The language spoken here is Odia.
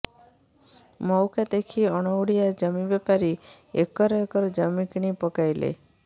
ମଉକା ଦେଖି ଅଣଓଡ଼ିଆ ଜମି ବେପାରୀ ଏକର ଏକର ଜମି କିଣି ପକାଇଲେ